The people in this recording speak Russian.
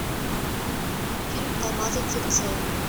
фильм алмазы цирцеи